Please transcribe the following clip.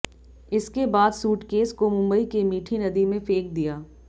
इसके बाद सूटकेस को मुंबई के मीठी नदी में फेंक दिया